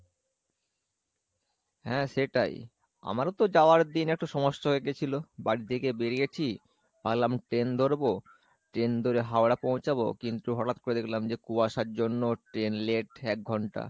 হ্যাঁ সেটাই, আমারও তো যাওয়ার দিন একটু সমস্যা হয়ে গেছিলো, বাড়ি থেকে বেরিয়েছি ভাবলাম train ধরবো, train ধরে হাওড়া পৌঁছাবো কিন্তু হটাৎ করে দেখলাম যে কুয়াশার জন্য train late এক ঘন্টা,